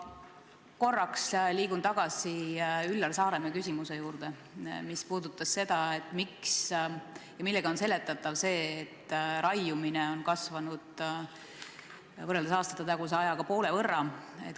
Ma korraks liigun tagasi Üllar Saaremäe küsimuse juurde, et millega on seletatav see, et raiumine on võrreldes aastatetaguse ajaga kasvanud poole võrra.